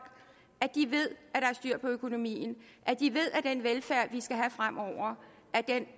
at de ved at er styr på økonomien at de ved at den velfærd vi skal have fremover